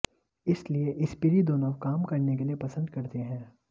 इसलिए स्पीरिदोनोव काम करने के लिए पसंद करते हैं